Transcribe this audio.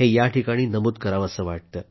हे इथं नमूद करावंसं वाटतंय